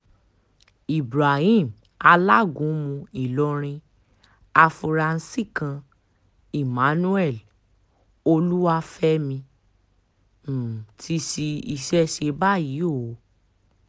ibrahim alágúnmu ìlọrin afuarasí kan emmanuel olúwafẹ̀mí um ti ṣí iṣẹ́ ṣe báyìí o um